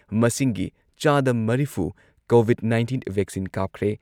ꯃꯁꯤꯡꯒꯤ ꯆꯥꯗ ꯃꯔꯤꯐꯨ ꯀꯣꯚꯤꯗ ꯅꯥꯏꯟꯇꯤꯟ ꯚꯦꯛꯁꯤꯟ ꯀꯥꯞꯈ꯭ꯔꯦ ꯫